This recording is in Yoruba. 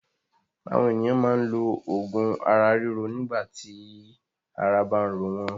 Àwọn ènìyàn máa ń lo òògùn ara ríro nígbà tí ara bá ń ro wọ́n.